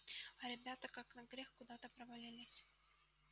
а ребята как на грех куда то провалились